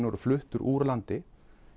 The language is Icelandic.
og fluttur úr landi